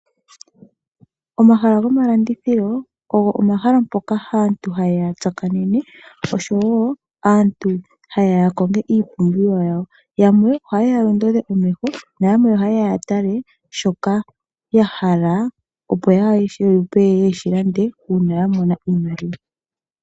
Omahala gomalandithilo ogo omahala mpoka aantu hayeya ya tsakanene oshowo aantu hayeya yakonge ipumbiwa yawo. Yamwe ohayeya ya ondodhe omeho nayamwe ohayeya ya tale shoka yahala opo yawape yeye yeshi lande uuna ya mona iimaliwa.